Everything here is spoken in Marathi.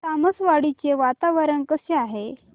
तामसवाडी चे वातावरण कसे आहे